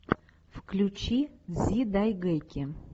включи дзидайгэки